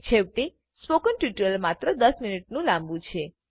છેવટે spoken tutorial માત્ર દસ મિનિટ લાંબુ છે